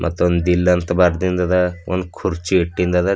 ಇದೊಂದ್ ದಿಲ್ ಅಂತ ಬರ್ದಿಂದದ ಒಂದು ಕುರ್ಚಿ ಇಟ್ಟಿಂದದ.